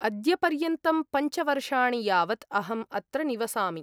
अद्यपर्यन्तं पञ्च वर्षाणि यावत् अहं अत्र निवसामि।